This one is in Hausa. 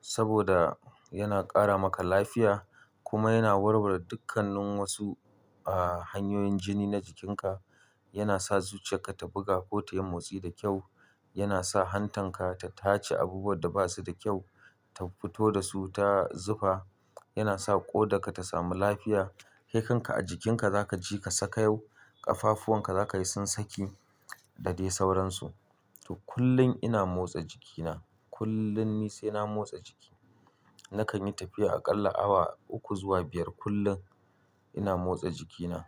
saboda yana ƙara maka lafiya kuma yana warware dukannin wasu, ah, hanyoyin jini na jikinka. Yana sa zuciyarka ta buga ko ta yi motsi da kyau. Yana sa hantarka ta tace abubuwanda basuda kyau ta fito dasu ta zufa. Yana sa ƙodarka ta sami lafiya. Kai kanka a jikinka zakaji ka sakayau, ƙafafuwan ka zakaji sun saki dade sauransu. To, kullum ina motsa jikina. Kullum ni sai na motsa jiki. Nakan yi tafiya aƙalla awa uku zuwa biyar kullum ina motsa jikina.